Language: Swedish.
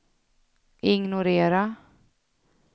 ignorera